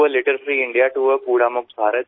ભારતને ગંદકીથી મુક્ત કરવા કુડા મુક્ત ભારત માટે